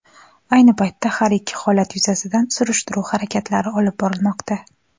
Ayni paytda har ikki holat yuzasidan surishtiruv harakatlari olib borilmoqda.